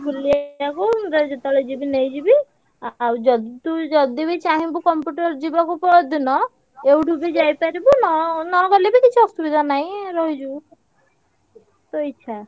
ବୁଲେଇଆକୁ ମୁଁ ତତେ ଯେତବେଳେ ଯିବି ନେଇଯିବି, ଆଉ ଯଦି ତୁ ଯଦି ବି ଚାହିଁବୁ computer ଯିବାକୁ ପଅରଦିନ ଏଉଠୁ ବି ଯାଇପାରିବୁ ନ~ ନଗଲେ ବି କିଛି ଅସୁବିଧା ନାହିଁ ରହିଯିବୁ ତୋ ଇଚ୍ଛା।